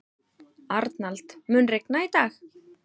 Arnald, mun rigna í dag?